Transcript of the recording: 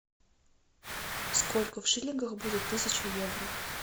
сколько в шиллингах будет тысяча евро